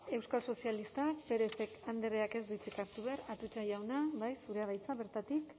euskal sozialistak pérez andreak ez du hitzik hartu behar atutxa jauna bai zurea da hitza bertatik